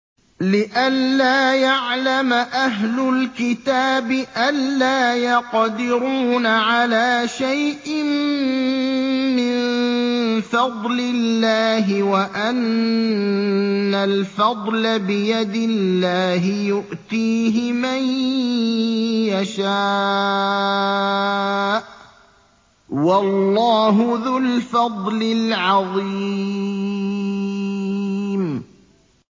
لِّئَلَّا يَعْلَمَ أَهْلُ الْكِتَابِ أَلَّا يَقْدِرُونَ عَلَىٰ شَيْءٍ مِّن فَضْلِ اللَّهِ ۙ وَأَنَّ الْفَضْلَ بِيَدِ اللَّهِ يُؤْتِيهِ مَن يَشَاءُ ۚ وَاللَّهُ ذُو الْفَضْلِ الْعَظِيمِ